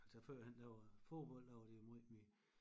Altså førhen der var fodbold der var det måj mere